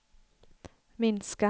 minska